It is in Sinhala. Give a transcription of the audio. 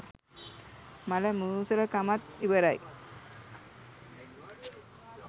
මල මූසල කමත් ඉවරයි